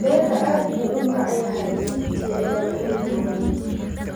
Beerka aad buu u macaan yahay, fiidkii ayaan cuni doonnaa.